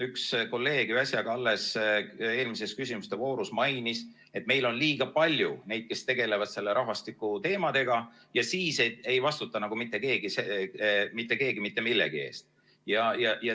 Üks kolleeg äsja alles eelmises küsimuste voorus mainis, et meil on liiga palju neid, kes tegelevad rahvastikuteemadega, ja siis ei vastuta nagu mitte keegi mitte millegi eest.